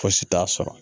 Fosi t'a sɔrɔ